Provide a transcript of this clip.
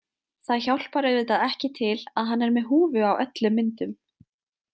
Það hjálpar auðvitað ekki til að hann er með húfu á öllum myndum.